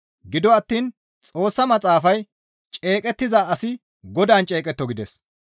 Gido attiin Xoossa Maxaafay, «Ceeqettiza asi Godaan ceeqetto» gides.